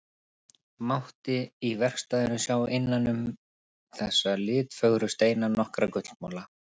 Mátti í verkstæðinu sjá innan um þessa litfögru steina nokkra gullmola.